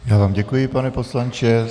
Já vám děkuji, pane poslanče.